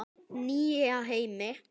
Nýja heimi?